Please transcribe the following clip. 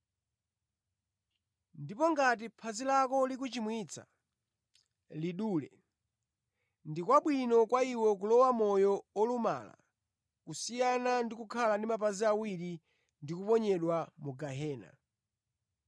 Ndipo ngati phazi lako likuchimwitsa, lidule. Ndi kwabwino kwa iwe kulowa mʼmoyo olumala kusiyana ndi kukhala ndi mapazi awiri ndi kuponyedwa mu gehena.